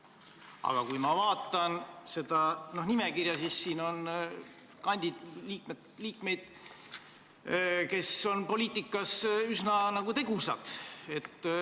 Aga kui ma vaatan seda nimekirja, siis siin on inimesi, kes on poliitikas üsna tegusad.